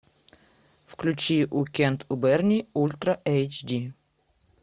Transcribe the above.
включи уикенд у берни ультра эйч ди